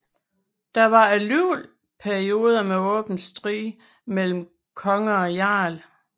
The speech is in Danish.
Der var alligevel perioder med åben strid mellem konge og jarl